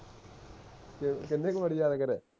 ਕਿ ਕਿੰਨੇ ਕੇ ਵਰੀ ਯਾਦ ਕਰੀਆ